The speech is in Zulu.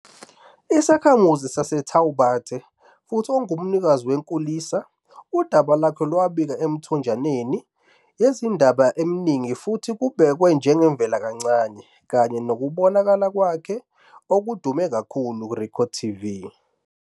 Isakhamuzi saseTaubaté futhi ongumnikazi wenkulisa, udaba lwakhe lwabikwa emithonjeni yezindaba eminingi futhi lubhekwa njengeyivelakancane, kanye nokubonakala kwakhe okudume kakhulu RecordTV.